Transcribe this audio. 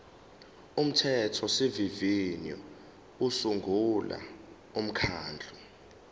umthethosivivinyo usungula umkhandlu